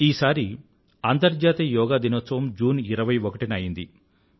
ఈసారి అంతర్జాతీయ యోగా దినోత్సవం జూన్ 21న అయింది